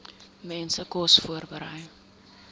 mense kos voorberei